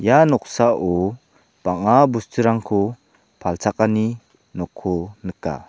ia noksao bang·a bosturangko palchakaniko nika.